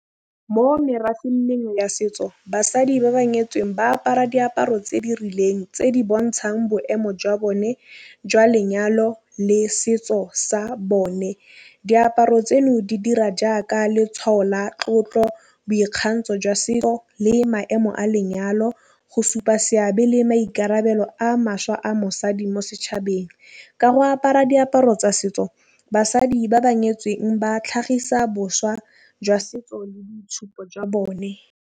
Mo merafeng ya setso basadi ba ba nyetseng ba apara diaparo tse di rileng tse di bontšhang boemo jwa bone jwa lenyalo le setso sa bone. Diaparo tseno di dira jaaka letšhwao la tlotlo boikgapo ntsho jwa setso le maemo a lenyalo go supa seabe le maikarabelo a mašwa a mosadi mo setšhabeng. Ka go apara diaparo tsa setso basadi ba ba nyetseng ba tlhagisa boswa jwa setso le boitšhupo jwa bone.